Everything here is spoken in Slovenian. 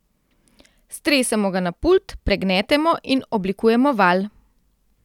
Stresemo ga na pult, pregnetemo in oblikujemo valj.